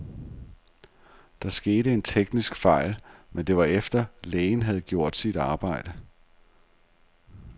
Der skete en teknisk fejl, men det var efter, lægen havde gjort sit arbejde.